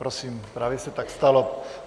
Prosím, právě se tak stalo.